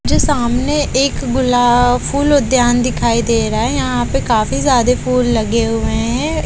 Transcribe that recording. मुझे सामने एक गुलाब फूल उद्यान दिखाई दे रहा है यहां पे काफी ज्यादे फूल लगे हुए हैं।